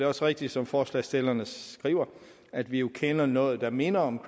også rigtigt som forslagsstillerne skriver at vi jo kender noget der minder om